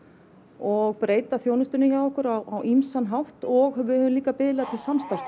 og breyta þjónustunni hjá okkur á ýmsan hátt og við höfum líka biðlað til